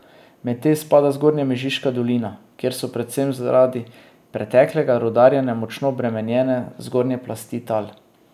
Med te spada Zgornja Mežiška dolina, kjer so predvsem zaradi preteklega rudarjenja močno obremenjene zgornje plasti tal.